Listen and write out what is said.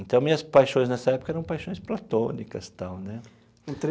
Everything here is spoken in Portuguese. Então, minhas paixões nessa época eram paixões platônicas tal né.